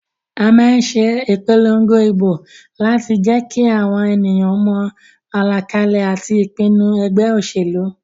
A má nse ìpolongo ìbò láti jékí àwon ènìyàn mo àlàkalè àti ìpinu egbé òsèlú